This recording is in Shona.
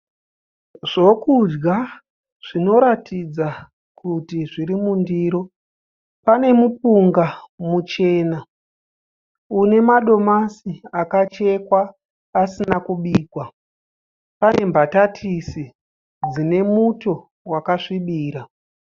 Zvokudya zvinotaridza kuti zviri mundiro. Pane mupunga muchena une madomasi akachekwa asina kubikwa, pane mbatatisi dzine muto wakasvibira.